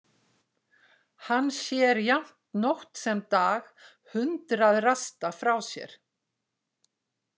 Hann sér jafnt nótt sem dag hundrað rasta frá sér.